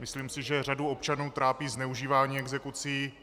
Myslím si, že řadu občanů trápí zneužívání exekucí.